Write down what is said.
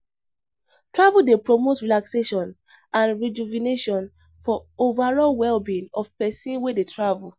Travel dey promote relaxation and rejuvenation for overall well-being of pesin wey dey travel.